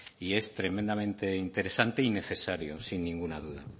y es tremendamente interesante y necesario sin ninguna duda